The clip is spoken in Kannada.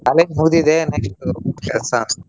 College ಮುಗ್ದಿದೆ next ಕೆಲ್ಸಾ.